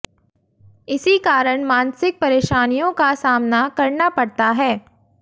इसी कारण मानसिक परेशानियों का सामना करना पड़ता है